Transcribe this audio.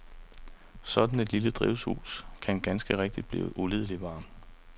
Sådan et lille drivhus kan ganske rigtigt blive ulidelig varmt.